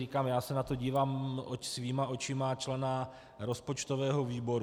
Říkám, já se na to dívám svýma očima, člena rozpočtového výboru.